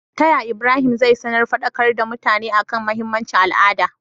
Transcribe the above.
taya ibrahim zai sanar fadakar da mutane akan mahinmancin al'ada?